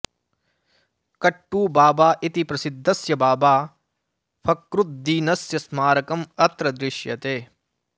कट्टुबाबा इति प्रसिद्धस्य बाबा फ़क्रुद्दीनस्य स्मारकम् अत्र दृश्यते